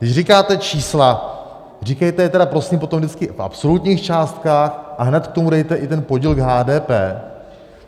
Když říkáte čísla, říkejte je tedy prosím potom vždycky v absolutních částkách a hned k tomu dejte i ten podíl k HDP.